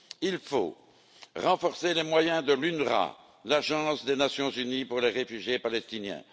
Il faut renforcer les moyens de l'UNRWA, l'agence de l'ONU pour les réfugiés palestiniens.